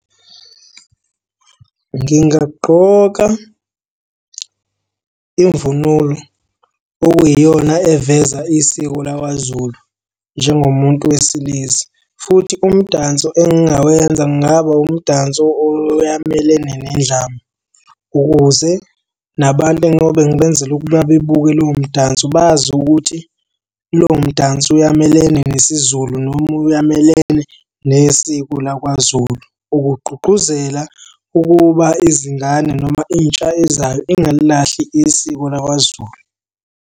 Ngingagqoka imvunulo okuyiyona eveza isiko lakwaZulu njengomuntu wesilisa, futhi umdanso engingawenza kungaba umdanso oyamelene nendlamu, ukuze nabantu engiyobe ngibenzela ukuba bebuke lowo mdanso bazi ukuthi lowo mdanso uyamelene nesiZulu noma uyamelene nesiko lakwaZulu ukugqugquzela ukuba izingane noma intsha ezayo ingalilahli isiko lakwaZulu.